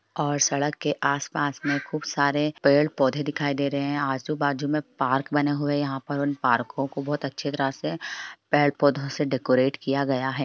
और सड़क के आस-पास में खूब सारे पेड़-पौधे दिखाई दे रहे हैं आजु-बाजु में पार्क बने हुए है यहाँ पर उन पार्को को बहुत अच्छी तरह से पेड़ पौधों से डेकोरेट किया गया है।